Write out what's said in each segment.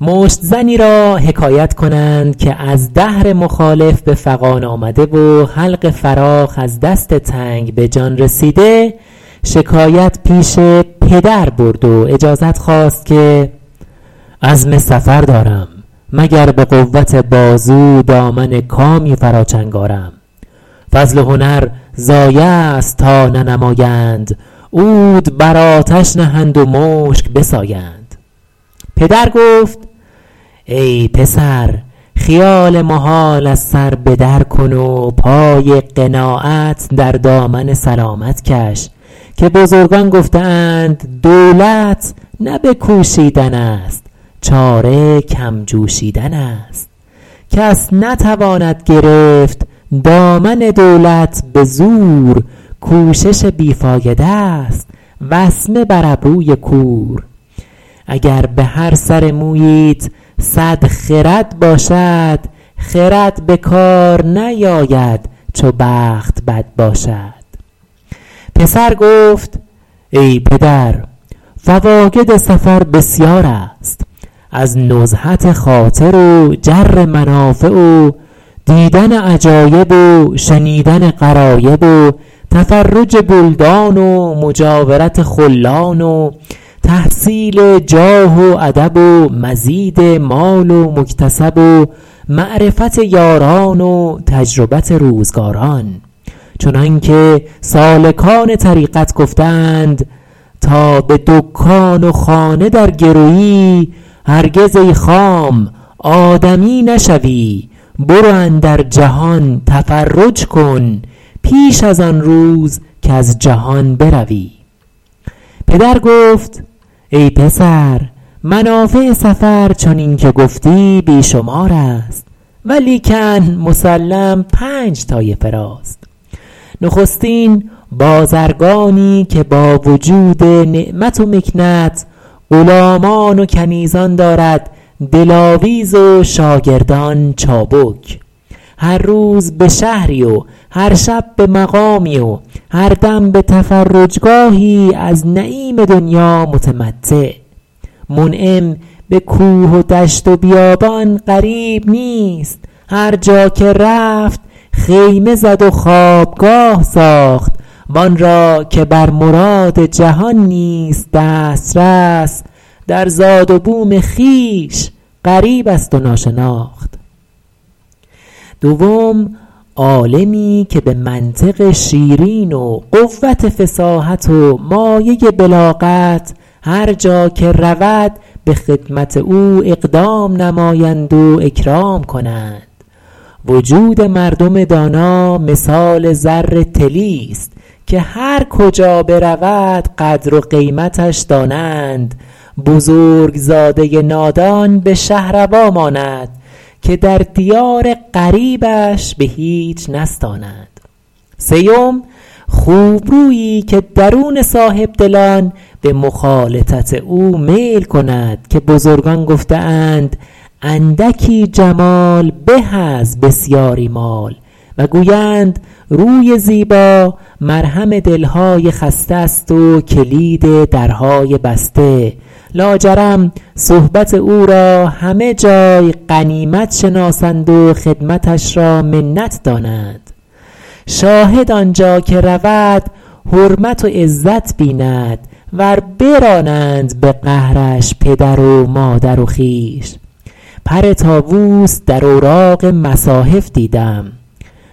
مشت زنی را حکایت کنند که از دهر مخالف به فغان آمده و حلق فراخ از دست تنگ به جان رسیده شکایت پیش پدر برد و اجازت خواست که عزم سفر دارم مگر به قوت بازو دامن کامی فرا چنگ آرم فضل و هنر ضایع است تا ننمایند عود بر آتش نهند و مشک بسایند پدر گفت ای پسر خیال محال از سر به در کن و پای قناعت در دامن سلامت کش که بزرگان گفته اند دولت نه به کوشیدن است چاره کم جوشیدن است کس نتواند گرفت دامن دولت به زور کوشش بی فایده ست وسمه بر ابروی کور اگر به هر سر موییت صد خرد باشد خرد به کار نیاید چو بخت بد باشد پسر گفت ای پدر فواید سفر بسیار است از نزهت خاطر و جر منافع و دیدن عجایب و شنیدن غرایب و تفرج بلدان و مجاورت خلان و تحصیل جاه و ادب و مزید مال و مکتسب و معرفت یاران و تجربت روزگاران چنانکه سالکان طریقت گفته اند تا به دکان و خانه درگروی هرگز ای خام آدمی نشوی برو اندر جهان تفرج کن پیش از آن روز کز جهان بروی پدر گفت ای پسر منافع سفر چنین که گفتی بی شمار است ولیکن مسلم پنج طایفه راست نخستین بازرگانی که با وجود نعمت و مکنت غلامان و کنیزان دارد دلاویز و شاگردان چابک هر روز به شهری و هر شب به مقامی و هر دم به تفرجگاهی از نعیم دنیا متمتع منعم به کوه و دشت و بیابان غریب نیست هر جا که رفت خیمه زد و خوابگاه ساخت و آن را که بر مراد جهان نیست دسترس در زاد و بوم خویش غریب است و ناشناخت دوم عالمی که به منطق شیرین و قوت فصاحت و مایه بلاغت هر جا که رود به خدمت او اقدام نمایند و اکرام کنند وجود مردم دانا مثال زر طلی ست که هر کجا برود قدر و قیمتش دانند بزرگ زاده نادان به شهروا ماند که در دیار غریبش به هیچ نستانند سیم خوبرویی که درون صاحب دلان به مخالطت او میل کند که بزرگان گفته اند اندکی جمال به از بسیاری مال و گویند روی زیبا مرهم دل های خسته است و کلید درهای بسته لاجرم صحبت او را همه جای غنیمت شناسند و خدمتش را منت دانند شاهد آنجا که رود حرمت و عزت بیند ور برانند به قهرش پدر و مادر و خویش پر طاووس در اوراق مصاحف دیدم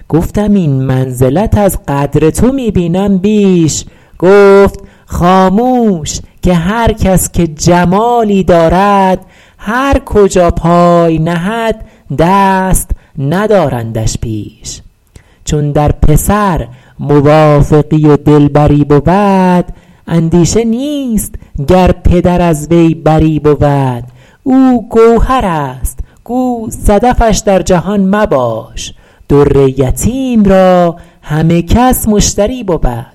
گفتم این منزلت از قدر تو می بینم بیش گفت خاموش که هر کس که جمالی دارد هر کجا پای نهد دست ندارندش پیش چون در پسر موافقی و دلبری بود اندیشه نیست گر پدر از وی بری بود او گوهر است گو صدفش در جهان مباش در یتیم را همه کس مشتری بود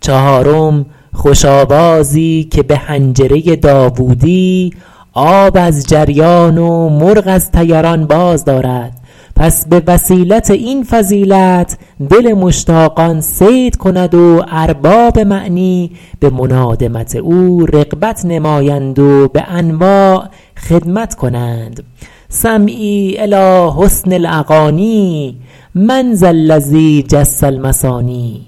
چهارم خوش آوازی که به حنجره داوودی آب از جریان و مرغ از طیران باز دارد پس به وسیلت این فضیلت دل مشتاقان صید کند و ارباب معنی به منادمت او رغبت نمایند و به انواع خدمت کنند سمعی الیٰ حسن الاغانی من ذا الذی جس المثانی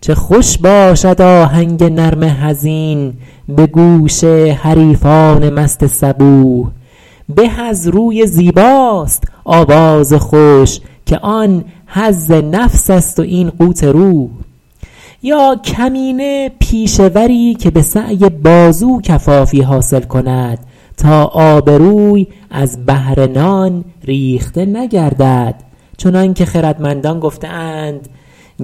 چه خوش باشد آهنگ نرم حزین به گوش حریفان مست صبوح به از روی زیباست آواز خوش که آن حظ نفس است و این قوت روح یا کمینه پیشه وری که به سعی بازو کفافی حاصل کند تا آبروی از بهر نان ریخته نگردد چنان که خردمندان گفته اند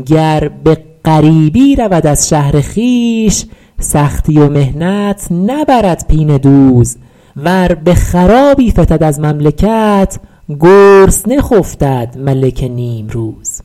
گر به غریبی رود از شهر خویش سختی و محنت نبرد پینه دوز ور به خرابی فتد از مملکت گرسنه خفتد ملک نیمروز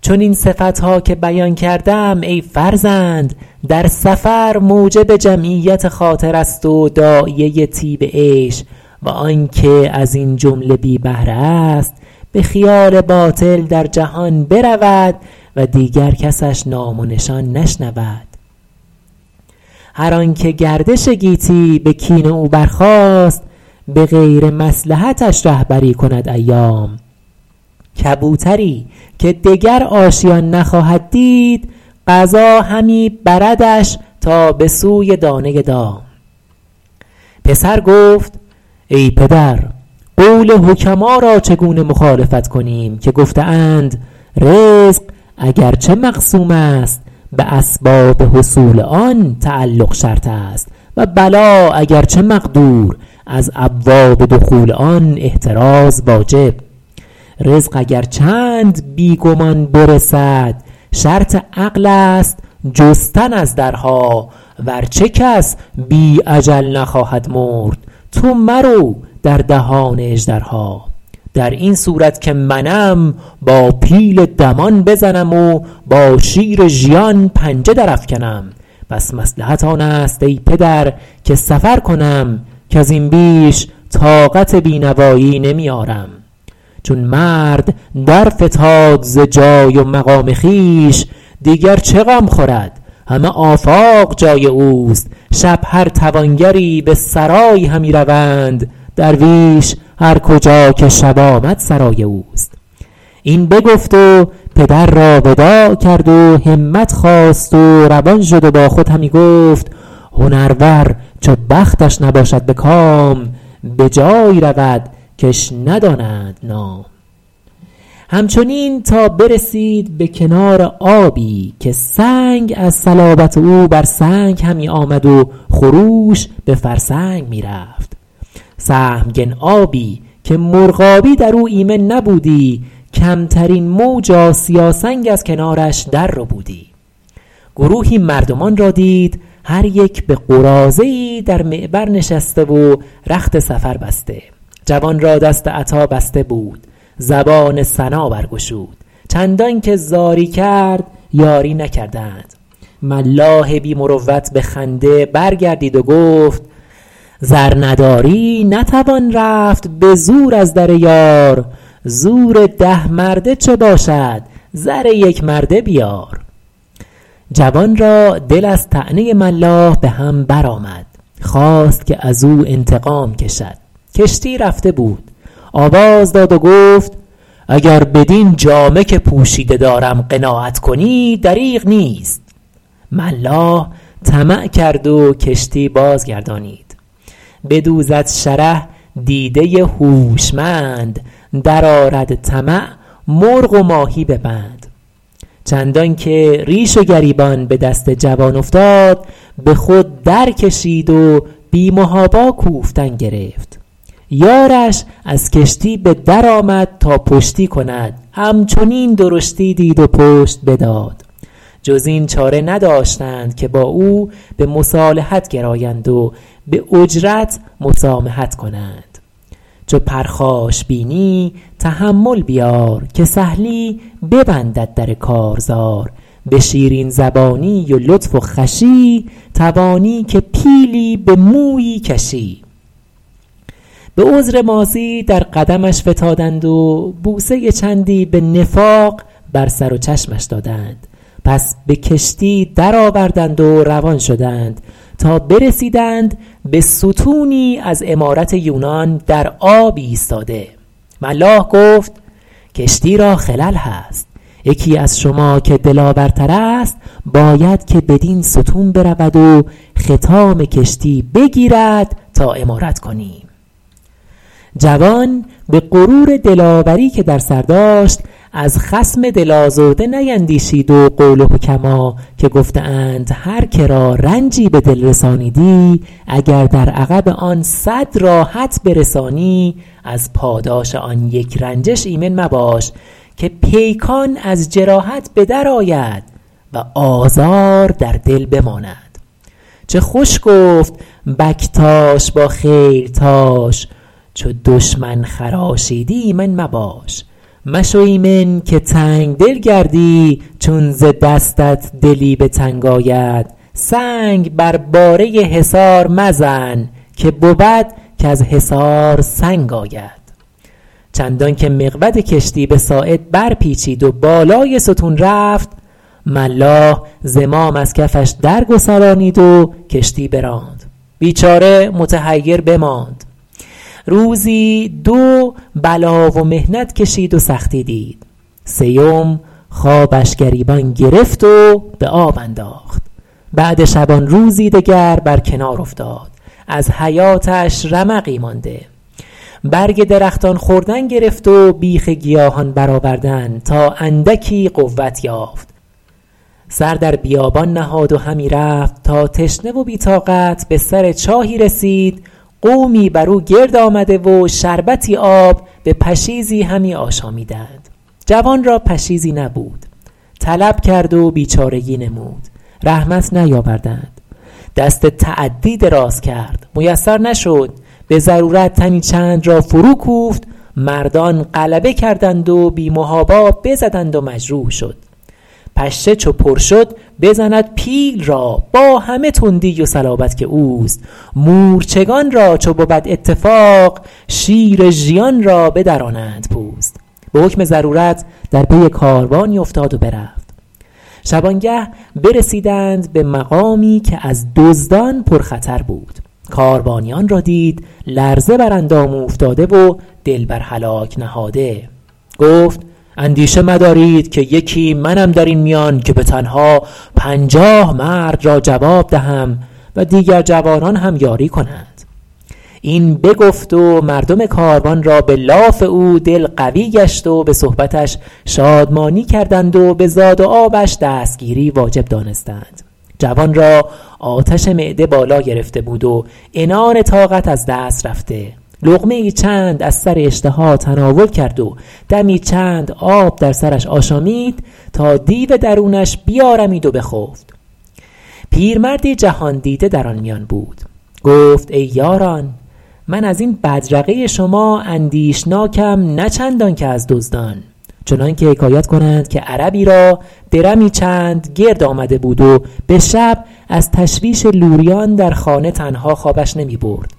چنین صفت ها که بیان کردم ای فرزند در سفر موجب جمعیت خاطر است و داعیه طیب عیش و آن که از این جمله بی بهره است به خیال باطل در جهان برود و دیگر کسش نام و نشان نشنود هر آن که گردش گیتی به کین او برخاست به غیر مصلحتش رهبری کند ایام کبوتری که دگر آشیان نخواهد دید قضا همی بردش تا به سوی دانه دام پسر گفت ای پدر قول حکما را چگونه مخالفت کنیم که گفته اند رزق اگرچه مقسوم است به اسباب حصول تعلق شرط است و بلا اگرچه مقدور از ابواب دخول آن احتراز واجب رزق اگر چند بی گمان برسد شرط عقل است جستن از درها ورچه کس بی اجل نخواهد مرد تو مرو در دهان اژدرها در این صورت که منم با پیل دمان بزنم و با شیر ژیان پنجه در افکنم پس مصلحت آن است ای پدر که سفر کنم کز این بیش طاقت بینوایی نمی آرم چون مرد درفتاد ز جای و مقام خویش دیگر چه غم خورد همه آفاق جای اوست شب هر توانگری به سرایی همی روند درویش هرکجا که شب آمد سرای اوست این بگفت و پدر را وداع کرد و همت خواست و روان شد و با خود همی گفت هنرور چو بختش نباشد به کام به جایی رود کش ندانند نام همچنین تا برسید به کنار آبی که سنگ از صلابت او بر سنگ همی آمد و خروش به فرسنگ می رفت سهمگن آبی که مرغابی در او ایمن نبودی کمترین موج آسیا سنگ از کنارش در ربودی گروهی مردمان را دید هر یک به قراضه ای در معبر نشسته و رخت سفر بسته جوان را دست عطا بسته بود زبان ثنا برگشود چندان که زاری کرد یاری نکردند ملاح بی مروت به خنده برگردید و گفت زر نداری نتوان رفت به زور از دریار زور ده مرده چه باشد زر یک مرده بیار جوان را دل از طعنه ملاح به هم برآمد خواست که از او انتقام کشد کشتی رفته بود آواز داد و گفت اگر بدین جامه که پوشیده دارم قناعت کنی دریغ نیست ملاح طمع کرد و کشتی بازگردانید بدوزد شره دیده هوشمند در آرد طمع مرغ و ماهی به بند چندان که ریش و گریبان به دست جوان افتاد به خود درکشید و بی محابا کوفتن گرفت یارش از کشتی به در آمد تا پشتی کند همچنین درشتی دید و پشت بداد جز این چاره نداشتند که با او به مصالحت گرایند و به اجرت مسامحت نمایند کل مدٰاراة صدقة چو پرخاش بینی تحمل بیار که سهلی ببندد در کارزار به شیرین زبانی و لطف و خوشی توانی که پیلی به مویی کشی به عذر ماضی در قدمش فتادند و بوسه چندی به نفاق بر سر و چشمش دادند پس به کشتی درآوردند و روان شدند تا برسیدند به ستونی از عمارت یونان در آب ایستاده ملاح گفت کشتی را خلل هست یکی از شما که دلاور تر است باید که بدین ستون برود و خطام کشتی بگیرد تا عمارت کنیم جوان به غرور دلاوری که در سر داشت از خصم دل آزرده نیندیشید و قول حکما که گفته اند هر که را رنجی به دل رسانیدی اگر در عقب آن صد راحت برسانی از پاداش آن یک رنجش ایمن مباش که پیکان از جراحت به درآید و آزار در دل بماند چه خوش گفت بکتاش با خیلتاش چو دشمن خراشیدی ایمن مباش مشو ایمن که تنگ دل گردی چون ز دستت دلی به تنگ آید سنگ بر باره حصار مزن که بود کز حصار سنگ آید چندان که مقود کشتی به ساعد برپیچید و بالای ستون رفت ملاح زمام از کفش درگسلانید و کشتی براند بیچاره متحیر بماند روزی دو بلا و محنت کشید و سختی دید سیم خوابش گریبان گرفت و به آب انداخت بعد شبانروزی دگر بر کنار افتاد از حیاتش رمقی مانده برگ درختان خوردن گرفت و بیخ گیاهان برآوردن تا اندکی قوت یافت سر در بیابان نهاد و همی رفت تا تشنه و بی طاقت به سر چاهی رسید قومی بر او گرد آمده و شربتی آب به پشیزی همی آشامیدند جوان را پشیزی نبود طلب کرد و بیچارگی نمود رحمت نیاوردند دست تعدی دراز کرد میسر نشد به ضرورت تنی چند را فروکوفت مردان غلبه کردند و بی محابا بزدند و مجروح شد پشه چو پر شد بزند پیل را با همه تندی و صلابت که اوست مورچگان را چو بود اتفاق شیر ژیان را بدرانند پوست به حکم ضرورت در پی کاروانی افتاد و برفت شبانگه برسیدند به مقامی که از دزدان پرخطر بود کاروانیان را دید لرزه بر اندام اوفتاده و دل بر هلاک نهاده گفت اندیشه مدارید که یکی منم در این میان که به تنها پنجاه مرد را جواب دهم و دیگر جوانان هم یاری کنند این بگفت و مردم کاروان را به لاف او دل قوی گشت و به صحبتش شادمانی کردند و به زاد و آبش دستگیری واجب دانستند جوان را آتش معده بالا گرفته بود و عنان طاقت از دست رفته لقمه ای چند از سر اشتها تناول کرد و دمی چند آب در سرش آشامید تا دیو درونش بیارمید و بخفت پیرمردی جهان دیده در آن میان بود گفت ای یاران من از این بدرقه شما اندیشناکم نه چندان که از دزدان چنان که حکایت کنند که عربی را درمی چند گرد آمده بود و به شب از تشویش لوریان در خانه تنها خوابش نمی برد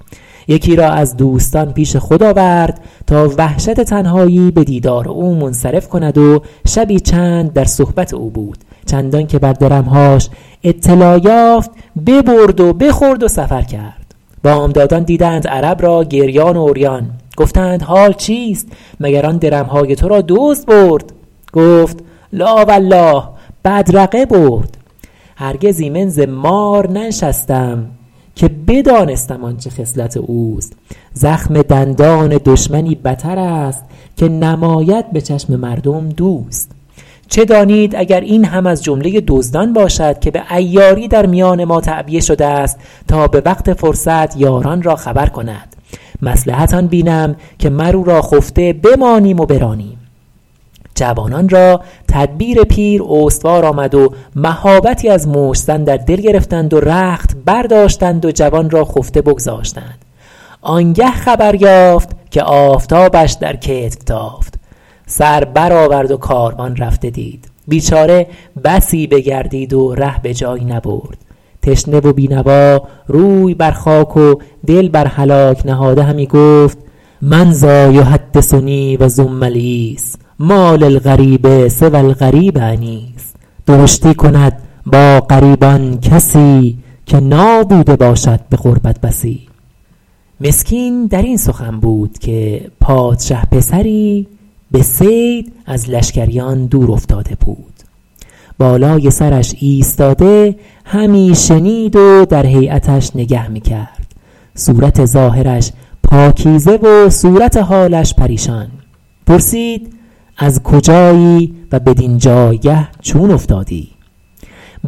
یکی را از دوستان پیش خود آورد تا وحشت تنهایی به دیدار او منصرف کند و شبی چند در صحبت او بود چندان که بر درم هاش اطلاع یافت ببرد و بخورد و سفر کرد بامدادان دیدند عرب را گریان و عریان گفتند حال چیست مگر آن درم های تو را دزد برد گفت لٰا ولله بدرقه برد هرگز ایمن ز مار ننشستم که بدانستم آنچه خصلت اوست زخم دندان دشمنی بتر است که نماید به چشم مردم دوست چه دانید اگر این هم از جمله دزدان باشد که به عیاری در میان ما تعبیه شده است تا به وقت فرصت یاران را خبر کند مصلحت آن بینم که مر او را خفته بمانیم و برانیم جوانان را تدبیر پیر استوار آمد و مهابتی از مشت زن در دل گرفتند و رخت برداشتند و جوان را خفته بگذاشتند آن گه خبر یافت که آفتابش در کتف تافت سر برآورد و کاروان رفته دید بیچاره بسی بگردید و ره به جایی نبرد تشنه و بی نوا روی بر خاک و دل بر هلاک نهاده همی گفت من ذٰا یحدثنی و زم العیس مٰا للغریب سوی الغریب انیس درشتی کند با غریبان کسی که نابوده باشد به غربت بسی مسکین در این سخن بود که پادشه پسری به صید از لشکریان دورافتاده بود بالای سرش ایستاده همی شنید و در هیأتش نگه می کرد صورت ظاهرش پاکیزه و صورت حالش پریشان پرسید از کجایی و بدین جایگه چون افتادی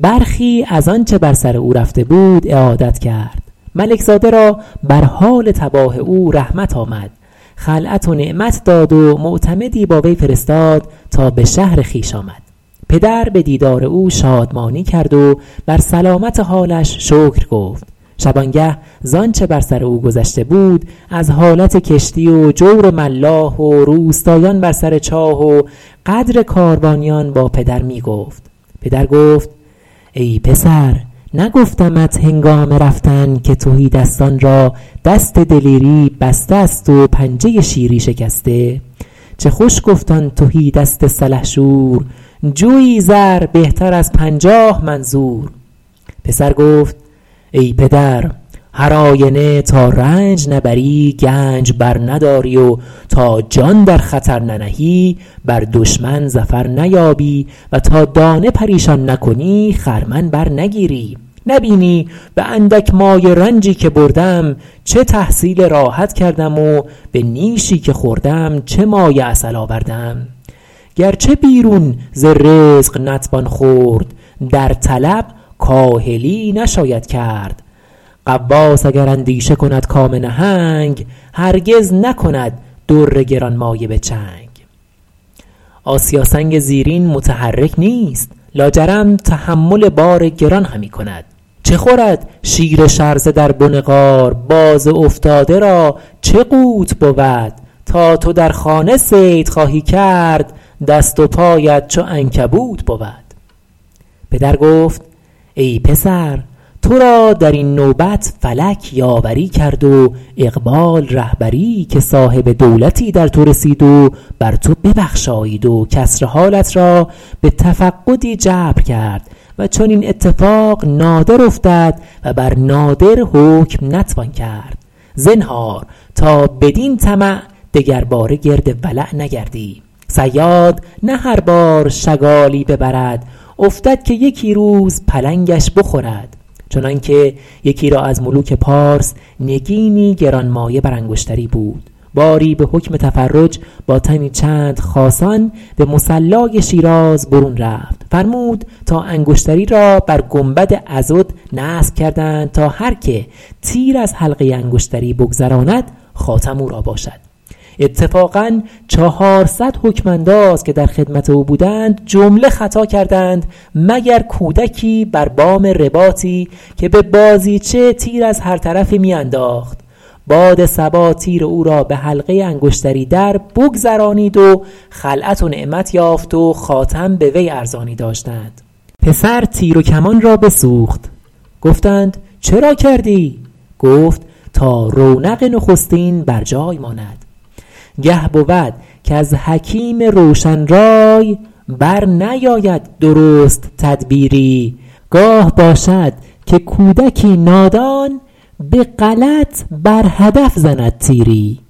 برخی از آنچه بر سر او رفته بود اعادت کرد ملک زاده را بر حال تباه او رحمت آمد خلعت و نعمت داد و معتمدی با وی فرستاد تا به شهر خویش آمد پدر به دیدار او شادمانی کرد و بر سلامت حالش شکر گفت شبانگه ز آنچه بر سر او گذشته بود از حالت کشتی و جور ملاح و روستایان بر سر چاه و غدر کاروانیان با پدر می گفت پدر گفت ای پسر نگفتمت هنگام رفتن که تهیدستان را دست دلیری بسته است و پنجه شیری شکسته چه خوش گفت آن تهی دست سلحشور جوی زر بهتر از پنجاه من زور پسر گفت ای پدر هر آینه تا رنج نبری گنج برنداری و تا جان در خطر ننهی بر دشمن ظفر نیابی و تا دانه پریشان نکنی خرمن برنگیری نه بینی به اندک مایه رنجی که بردم چه تحصیل راحت کردم و به نیشی که خوردم چه مایه عسل آوردم گرچه بیرون ز رزق نتوان خورد در طلب کاهلی نشاید کرد غواص اگر اندیشه کند کام نهنگ هرگز نکند در گرانمایه به چنگ آسیا سنگ زیرین متحرک نیست لاجرم تحمل بار گران همی کند چه خورد شیر شرزه در بن غار باز افتاده را چه قوت بود تا تو در خانه صید خواهی کرد دست و پایت چو عنکبوت بود پدر گفت ای پسر تو را در این نوبت فلک یاوری کرد و اقبال رهبری که صاحب دولتی در تو رسید و بر تو ببخشایید و کسر حالت را به تفقدی جبر کرد و چنین اتفاق نادر افتد و بر نادر حکم نتوان کرد زنهار تا بدین طمع دگرباره گرد ولع نگردی صیاد نه هر بار شگالی ببرد افتد که یکی روز پلنگش بخورد چنان که یکی را از ملوک پارس نگینی گرانمایه بر انگشتری بود باری به حکم تفرج با تنی چند خاصان به مصلای شیراز برون رفت فرمود تا انگشتری را بر گنبد عضد نصب کردند تا هر که تیر از حلقه انگشتری بگذراند خاتم او را باشد اتفاقا چهارصد حکم انداز که در خدمت او بودند جمله خطا کردند مگر کودکی بر بام رباطی که به بازیچه تیر از هر طرفی می انداخت باد صبا تیر او را به حلقه انگشتری دربگذرانید و خلعت و نعمت یافت و خاتم به وی ارزانی داشتند پسر تیر و کمان را بسوخت گفتند چرا کردی گفت تا رونق نخستین بر جای ماند گه بود کز حکیم روشن رای برنیاید درست تدبیری گاه باشد که کودکی نادان به غلط بر هدف زند تیری